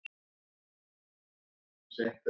Hugi, hvar er dótið mitt?